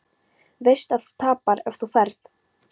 Veist að þú tapar ef þú ferð.